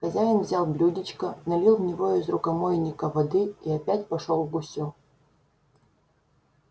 хозяин взял блюдечко налил в него из рукомойника воды и опять пошёл к гусю